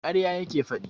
Ƙarya yake faɗi.